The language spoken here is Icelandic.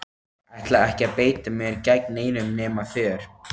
Ég ætla ekki að beita mér gegn neinum nema þér!